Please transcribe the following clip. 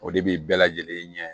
O de bi bɛɛ lajɛlen ɲɛ